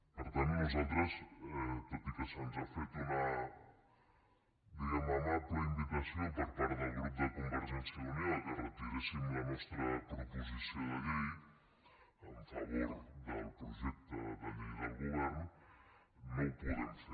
per tant nosaltres tot i que se’ns ha fet una diguem ne amable invitació per part del grup de convergència i unió que retiréssim la nostra proposició de llei en favor del projecte de llei del govern no ho podem fer